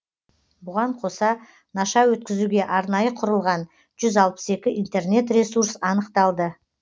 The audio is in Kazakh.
бұған қоса наша өткізуге арнайы құрылған жүз алпыс екі интернет ресурс анықталды